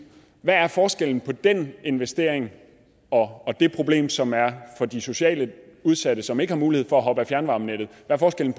hvad er forskellen på den investering og det problem som er for de socialt udsatte som ikke har mulighed for at hoppe af fjernvarmenettet